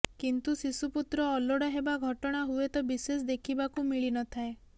କିନ୍ତୁ ଶିଶୁପୁତ୍ର ଅଲୋଡା ହେବା ଘଟଣା ହୁଏତ ବିଶେଷ ଦେଖିବାକୁ ମିଳି ନଥାଏ